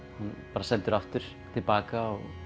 var sendur aftur til baka og